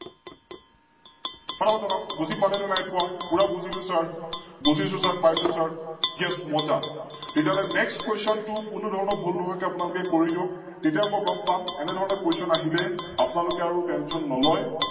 ফটা ফত জনাওক? বুজি পালে ন নাইপোৱা? পোৰা বুজিলো Sir বুজিছো Sir, পাইছো SirYes মজা তেতিয়াহলে NextQuestion তু কোনোধৰণৰ ভুল নোহোৱাকৈ আপোনালোকে কৰি দিয়ক? তেতিয়া ম ই গম পাম এনেধৰণে Question আহিলে আপোনালোকে আৰু Tention নলয়